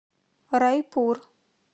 райпур